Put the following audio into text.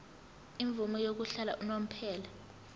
imvume yokuhlala unomphela